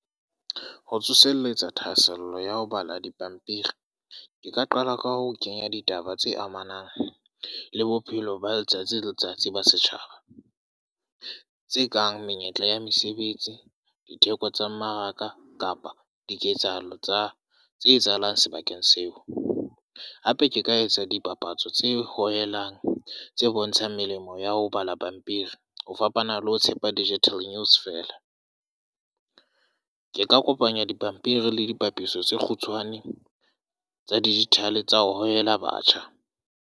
Ho tsoseletsa thahasello ya ho bala dipampiri. Ke ka qala ka ho kenya ditaba tse amanang le bophelo ba letsatsi le letsatsi ba setjhaba. Tse kang menyetla ya mesebetsi, ditheko tsa mmaraka, kapa diketsahalo tsa tse etsahalang sebakeng seo. Hape ke ka etsa dipapatso tse hohelang, tse bontshang melemo ya ho bala pampiri. Ho fapana le ho tshepa digital news fela. Ke ka kopanya dipampiri le dipapatso tse kgutshwane, tsa digital tsa ho hohela batjha.